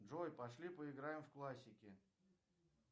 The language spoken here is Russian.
джой пошли поиграем в классики